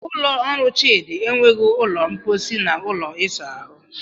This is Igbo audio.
Ụlọ ọrụ Chidi enweghị ụlọ mposi na ụlọ ịsa ahụ